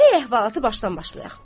Gərək əhvalatı başdan başlayaq.